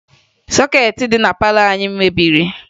Sọkeetị dị na palọ anyị mebiri